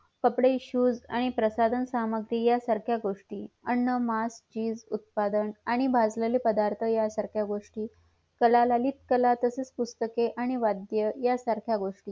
कपडे shoes आणि प्रसाधन सामग्री या सारख्या गोष्टी अन्न मास आणि चीज आणि उत्पादन आणि भाजलेले पदार्थ यासारख्या गोष्टी कला ललितकला व ठसेल पुस्तके आणि वाध्य या सारख्या वस्तू